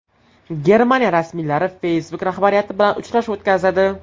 Germaniya rasmiylari Facebook rahbariyati bilan uchrashuv o‘tkazadi.